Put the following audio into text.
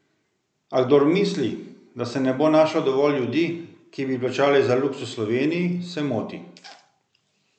A kdor misli, da se ne bo našlo dovolj ljudi, ki bi plačali za luksuz v Sloveniji, se moti.